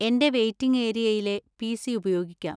എന്‍റെ വെയിറ്റിംഗ് ഏരിയയിലെ പി.സി. ഉപയോഗിക്കാം.